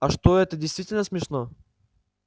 а что это действительно смешно